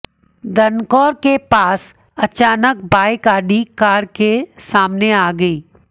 दनकौर के पास अचानक बाइक ऑडी कार के सामने आ गई